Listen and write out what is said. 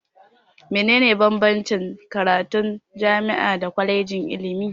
Me ne ne bambanci tsakanin karatun jami'a da kwalejin ilimi?